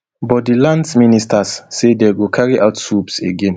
but di lands minister say dey go carry out swoops again